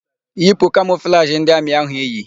Yipu kamọflajị ndị amị áhụ̀ iyi!